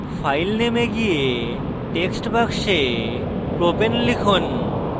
file name এ go text box propane লিখুন